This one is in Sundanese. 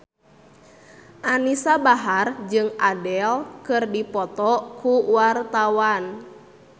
Anisa Bahar jeung Adele keur dipoto ku wartawan